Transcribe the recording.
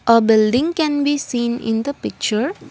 a building can be seen in the picture.